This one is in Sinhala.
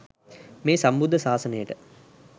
මේ සම්බුද්ධ ශාසනයට